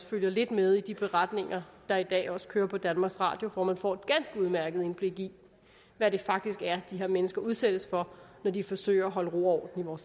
følger lidt med i de beretninger der i dag også kører på danmarks radio hvor man får et ganske udmærket indblik i hvad det faktisk er de her mennesker udsættes for når de forsøger at holde ro og